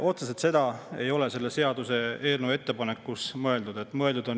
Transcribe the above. Otseselt seda ei ole selle seaduseelnõu ettepanekus mõeldud.